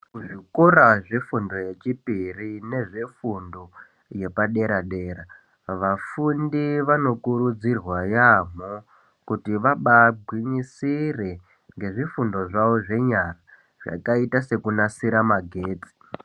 Zvikora zvefundo yechipiri nefundo yepadera dera, vafundi vanokurudzirwaa yaamboo kuti vabaa gwinyisire ngezvifundo zvavo zvenyara zvakaita sekunasira magetsi